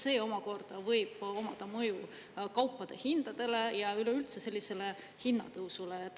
See omakorda võib omada mõju kaupade hindadele ja üleüldse sellisele hinnatõusule.